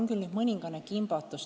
Ma olen nüüd küll mõningases kimbatuses.